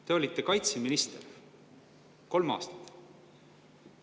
Te olite kaitseminister kolm aastat.